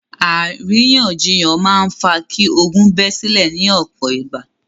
Àríyànjiyàn máa ń fa kí ogún bẹ́ sílẹ̀ ní ọ̀pọ̀ ìgbà.